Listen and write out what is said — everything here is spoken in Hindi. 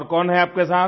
और कौन है आपके साथ